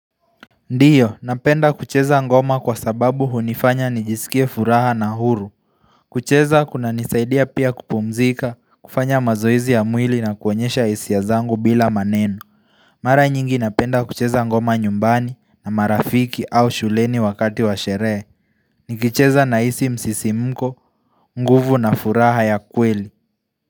Ndiyo napenda kucheza ngoma kwa sababu hunifanya nijisikie furaha na huru kucheza kunanisaidia pia kupumzika kufanya mazoezi ya mwili na kuonyesha hisia zangu bila maneno Mara nyingi napenda kucheza ngoma nyumbani na marafiki au shuleni wakati wa sherehe Nikicheza nahisi msisimko nguvu na furaha ya kweli.